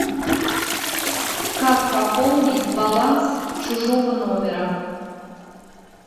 как пополнить баланс чужого номера